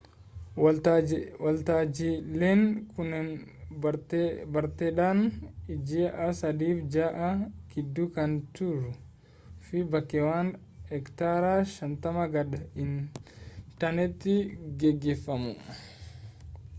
waltajiileen kunneen barteedhaan ji'a sadiif jaha gidduu kan turuu fi bakkeewwan hektaara 50 gad hin taaneetti geggeeffamu